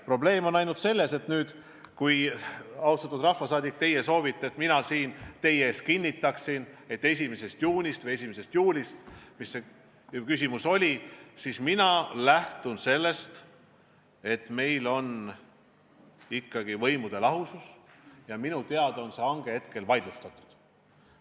Probleem on ainult selles, et kui teie, austatud rahvasaadik, soovite, et mina siin teie ees kinnitaksin, et 1. juunist need lennud algavad, siis mina lähtun sellest, et meil on ikkagi võimude lahusus ja minu teada on see hange praegu vaidlustatud.